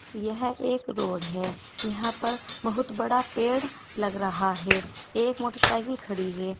यह एक रोड है यहां पर बहुत बड़ा पेड़ लग रहा है एक मोटरसाइकिल खड़ी है।